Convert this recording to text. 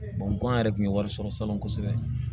kɔn yɛrɛ tun ye wari sɔrɔ salon kosɛbɛ